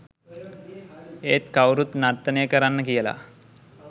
ඒත් කවුරුත් නර්තනය කරන්න කියලා